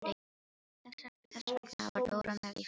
Þess vegna var Dóra með í för.